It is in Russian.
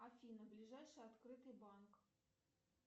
афина ближайший открытый банк